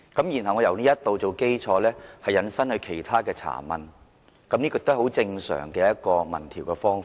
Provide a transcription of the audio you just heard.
然後，我們由此作基礎，引申其他查問，這是很正常的民調方法。